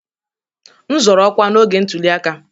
M zọọ ọkwa n'oge ntuli aka